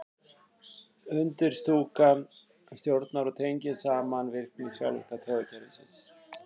undirstúkan stjórnar og tengir saman virkni sjálfvirka taugakerfisins